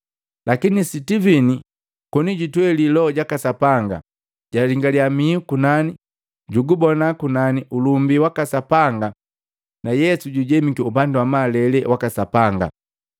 Lakini Sitivini koni jutweeli Loho jaka Sapanga, jalingalia mihu kunani, jugubona ulumbi waka Sapanga na Yesu jujemiki upandi wa malele waka Sapanga.